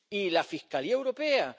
Y la Fiscalía europea.